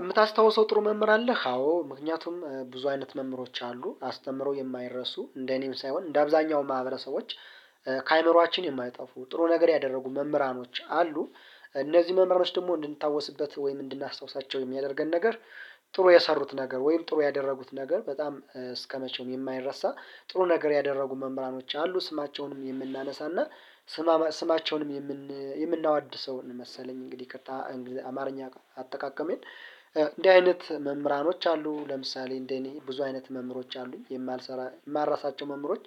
የምታስታውሰው ጥሩ መምህር አለህ አዎ ምክንያቱም ብዙ አይነት መምህሮች አሉ አስተምረው የማይረሱ እንደ እኔም ሳይሆን እንደ አብዛኛው ማህበረሰቦች ከአይመሮአችን የማይጠፉ ጥሩ ነገር ያደረጉ መምህራኖች አሉ። እነዚህ መምህሮች ደግሞ እንድንታወስበት ወይም እንድናስታውሳቸው የሚያደርገን ነገር ጥሩ የሰሩት ነገር ወይም ጥሩ ያደረጉት ነገር በጣም እስከመቼም የማይረሳ ጥሩ ነገር ያደረጉ መምህራኖች አሉ። ስማቸውንም የምናነሳና ስማቸውንም የምናወድሰውን መሰለኝ እንግዲህ አማርኛ አጠቃቀሜን እንዲህ አይነት መምህራኖች አሉ። ለምሳሌ እንደ እኔ ብዙ አይነት መምህሮች አሉኝ የማልሰራ የማረሳቸው መምህሮች።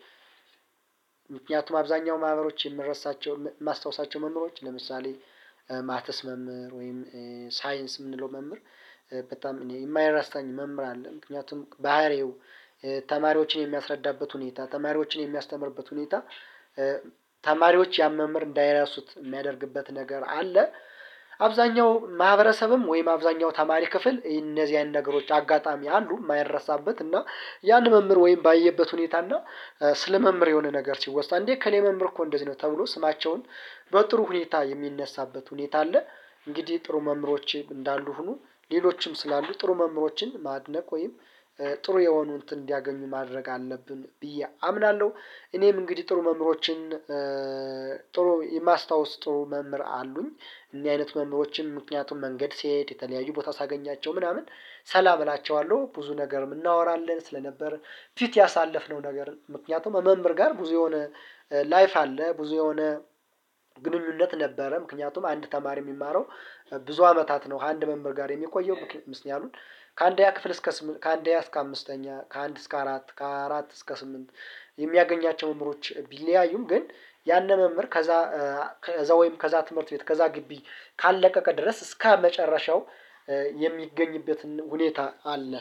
ምክንያቱም አብዛኛው ማህበሮች የምረሳቸው የማስታውሳቸው መምህሮች ለምሳሌ ማትስ መምህር ወይም ሳይንስ የምንለው መምህር በጣም እኔ የማይረሳኝ መምህር አለ። ምክንያቱም ባህሪው ተማሪዎችን የሚያስረዳበት ሁኔታ ተማሪዎችን የሚያስተምርበት ሁኔታ ተማሪዎች ያን መምህር እንዳይረሱት የሚያደርግበት ነገር አለ። አብዛኛው ማህበረሰብም ወይም አብዛኛው ተማሪ ክፍል እነዚህ አይነት ነገሮች አጋጣሚ አሉ የማይረሳበት እና የአንድ መምህር ወይም ባየበት ሁኔታ እና ስለመምህር የሆነ ነገር ሲወሳ አንዴ እከሌ መምህር እኮ እንደዚህ ነው ተብሎ ስማቸውን በጥሩ ሁኔታ የሚነሳበት ሁኔታ አለ። እንግዲህ ጥሩ መምህሮች እንዳሉ ሁሉ ሌሎችም ስላሉ ጥሩ መምህሮችን ማድነቅ ወይም ጥሩ የሆኑትን እንዲያገኙ ማድረግ አለብን ብዬ አምናለሁ። እኔም እንግዲህ ጥሩ መምህሮችን ማስታወስ ጥሩ መምህር አሉኝ። እኚህ አይነት መምህሮችን ምክንያቱም መንገድ ስሄድ የተለያዩ ቦታ ሳገኛቸው ምናምን ሰላም እላቸዋለሁ ብዙ ነገር እናወራለን ስለነበር ፊት ያሳለፍነው ነገር ምክንያቱም መምህር ጋር ብዙ የሆነ ላይፍ አለ ብዙ የሆነ ግንኙነት ነበረ። ምክንያቱም አንድ ተማሪ የሚማረው ብዙ አመታት ነው ከአንድ መምህር ጋር የሚቆየው ምክንያቱም ከአንድኛ ክፍል እስከ ስምን ከአንደኛ አስከ አምስተኛ ከአንድ እስከ አራት ከአራት እስከ ስምንት። የሚያገኛቸው መምህሮች ቢለያዩም ግን ያንን መምህር ከዛ ከዛ ወይም ከዛ ትምህርት ቤት ከዛ ግቢ ካልለቀቀ ድረስ እስከመጨረሻው የሚገኝበትም ሁኔታ አለ